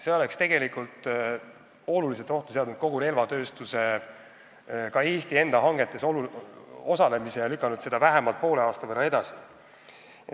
See oleks olulisel määral ohtu seadnud võimaluse osaleda kogu relvatööstuse, ka Eesti enda hangetes ja lükanud seda vähemalt poole aasta võrra edasi.